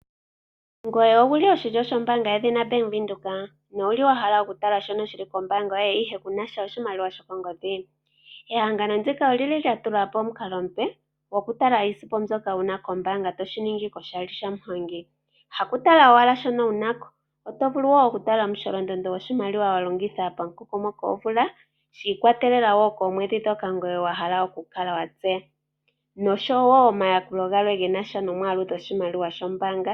Ngoye Owuli oshilyo shoombaanga yedhina Bank Windhoek? No wuli wahala okutala shono shili kombaanga yoye ihe kunasha oshimaliwa sho kongodhi? Ehangano ndika olili lya tulapo omukalo omupe goku tala iisimpo mbyoka wu na kombaanga toshiningi koshali sha muhongi. Hakutala owala shono wunako ,otovulu woo okutala omusholondondo goshimaliwa wa longitha mo mukokomoko gwomvula shi ikwatelela woo koomwedhi ndhoka ngoye wa hala okukala watseya noshowo omayakulo genasha noshimaliwa shombaanga.